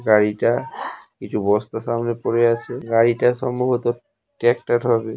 গাড়িটা কিছু বস্তা সামনে পড়ে আছে। গাড়িটা সম্ভবত ট্রাক্টর হবে।